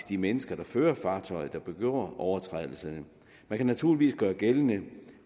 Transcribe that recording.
de mennesker der fører fartøjet der begår overtrædelserne det kan naturligvis gøres gældende